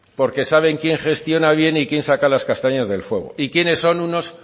porque saben quién gestiona bien y quién saca las castañas del fuego y quiénes son unos